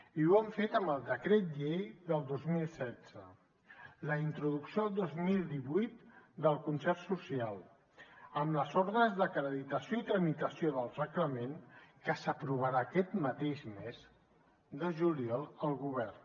i ho han fet amb el decret llei del dos mil setze la introducció el dos mil divuit del concert social amb les ordres d’acreditació i tramitació del reglament que s’aprovarà aquest mateix mes de juliol al govern